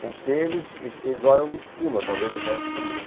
Como se eles eles olham de cima, talvez, do resto do mundo.